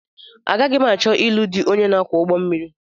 Agaghị m achọ ilu dị onye na-akwọ ụgbọmmiri